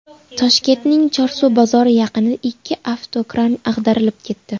Toshkentning Chorsu bozori yaqinida ikki avtokran ag‘darilib ketdi.